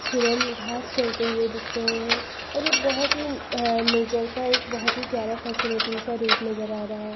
हिरन घास चरते हुए दिख रहे हैं और ये बहोत ही अ-नेचर का एक बहोत ही प्यारा सा फैसिनेटिंग सा रूप नजर आ रहा है।